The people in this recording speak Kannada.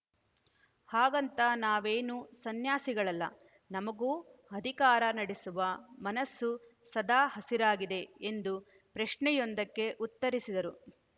ಹಾಗಂತ ನಾವೇನು ಸನ್ಯಾಸಿಗಳಲ್ಲ ನಮಗೂ ಅಧಿಕಾರ ನಡೆಸುವ ಮನಸ್ಸು ಸದಾ ಹಸಿರಾಗಿದೆ ಎಂದು ಪ್ರಶ್ನೆಯೊಂದಕ್ಕೆ ಉತ್ತರಿಸಿದರು